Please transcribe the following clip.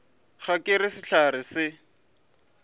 ga ke re sehlare se